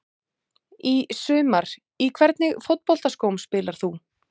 Í sumar Í hvernig fótboltaskóm spilar þú?